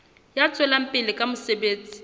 ya tswelang pele ka mosebetsi